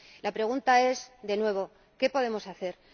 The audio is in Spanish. La pregunta es, de nuevo ¿qué podemos hacer?